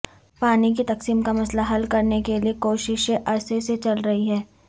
پانی کی تقسیم کا مسئلہ حل کرنے کے لیے کوششیں عرصے سے چل رہی ہیں